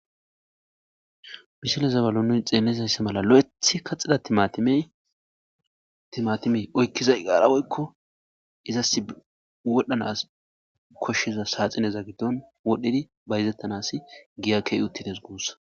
misile zabalonun xeelezaysse mala lo7ethi kaxxida timatimee oykkizay qaarawoykko izas wodhanas koshshiza saaxineza giddon wodhdhidi bayzettanas giyakkey uttides guussa